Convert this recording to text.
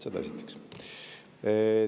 Seda esiteks.